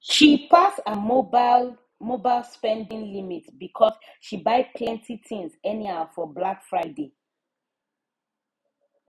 she pass her mobile her mobile spending limit because she buy plenty things anyhow for black friday